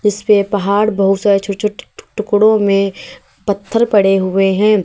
इस पे पहाड़ बहुत सारे छोटे-छोटे टुकड़ों में पत्थर पड़े हुए हैं।